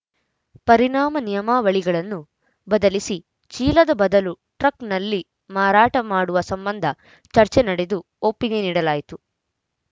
ಪರಿಣಾಮ ನಿಯಮಾವಳಿಗಳನ್ನು ಬದಲಿಸಿ ಚೀಲದ ಬದಲು ಟ್ರಕ್‌ನಲ್ಲಿ ಮಾರಾಟ ಮಾಡುವ ಸಂಬಂಧ ಚರ್ಚೆ ನಡೆದು ಒಪ್ಪಿಗೆ ನೀಡಲಾಯಿತು